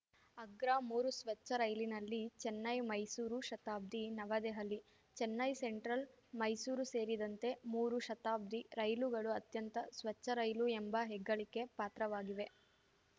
ಅಗ್ರ ಮೂರು ಸ್ವಚ್ಛ ರೈಲಿನಲ್ಲಿ ಚೆನ್ನೈ ಮೈಸೂರು ಶತಾಬ್ದಿ ನವದೆಹಲಿ ಚೆನ್ನೈ ಸೆಂಟ್ರಲ್‌ ಮೈಸೂರು ಸೇರಿದಂತೆ ಮೂರು ಶತಾಬ್ದಿ ರೈಲುಗಳು ಅತ್ಯಂತ ಸ್ವಚ್ಛ ರೈಲು ಎಂಬ ಹೆಗ್ಗಳಿಕೆ ಪಾತ್ರವಾಗಿವೆ